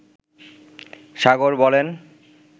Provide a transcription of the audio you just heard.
সাগর বলেন